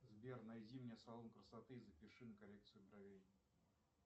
сбер найди мне салон красоты и запиши на коррекцию бровей